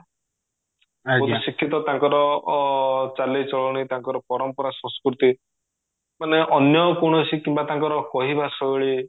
ବହୁତ ଶିକ୍ଷିତ ତାଙ୍କର ଚାଲି ଚଳଣି ତାଙ୍କର ପରମ୍ପରା ସଂସ୍କୃତି ମାନେ ଅନ୍ୟ କୌଣସି କିମ୍ବା ତାଙ୍କର କହିବା ଶୈଳୀ